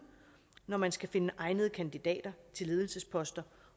når man skal finde egnede kandidater til ledelsesposter